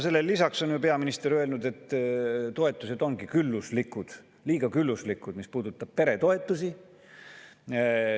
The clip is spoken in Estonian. Sellele lisaks on peaminister öelnud, et toetused ongi külluslikud, liiga külluslikud, mis puudutab peretoetusi.